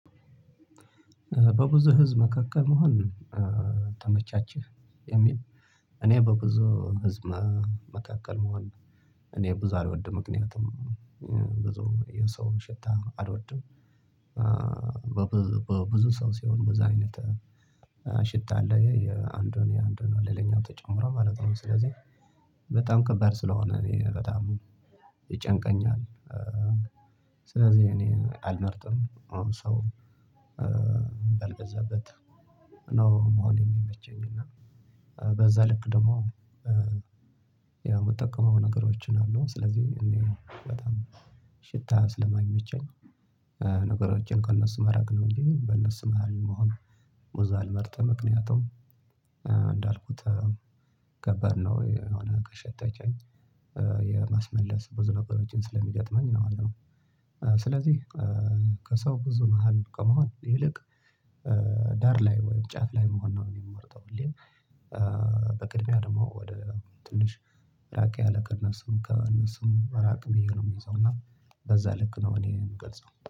በብዙ ህዝብ መካከል መሆን ተመቻችሁ የሚል እኔ በብዙ ህዝብ መካከል መሆን እኔ ብዙ አልወድም ምክንያቱም ብዙ የሰው ሽታ አልወድም። በብዙ ሰው ሲሆን ብዙ አይነት ሽታ አለ የአንዱን የአንዱን ሌላኛው ተጨምሮ ማለት ነው። ስለዚህ በጣም ከባድ ስለሆነ እኔ በጣም ይጨንቀኛል። ስለዚህ እኔ አልመርጥም ሰው በልበዛበት ነው መሆን የሚመቸኝ። እና በዛ ልክ ደግሞ የምጠቀመው ነገሮችን አሉ ስለዚህ እኔ በጣም ሽታ ስለማይመቸኝ ነገሮችን ከእነሱ መራቅ ነው። እንጂ በእነሱ መሃል መሆን ብዙ አልመርጥ ምክንያቱም እንዳልኩት ከበድነው የሆነ ከሸተተኝ የማስመለስ ብዙ ነገሮችን ስለሚገጥመኝ ማለት ነው። ስለዚህ ከሰው ብዙ መሃል ከመሆን ይልቅ ዳር ላይ ወይም ጫፍ ላይ መሆን ነው የምመርጠው። ሁሌ በቅድሚያ ደግሞ ወደ ትንሽ ራቅ ያለ ከእነሱ ከእነሱም ራቅ ብዬ ነው የምይዘው እና በዛ ልክ ነው እኔ የምገልጸው